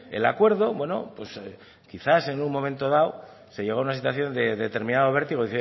el acuerdo bueno quizás en un momento dado se llegó a una situación de determinado vértigo